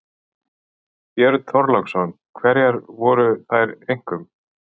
Björn Þorláksson: Hverjar voru þær einkum?